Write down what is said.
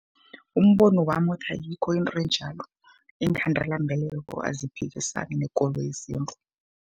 Umbono wami uthi ayikho into enjalo, iinkhandelambeleko aziphikisani nekolo yesintu